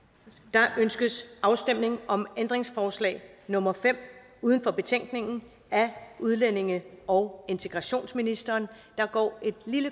der ønskes afstemning om ændringsforslag nummer fem uden for betænkningen af udlændinge og integrationsministeren der